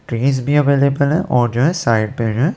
Trees भी available हैं और जो है साइड पे हैं।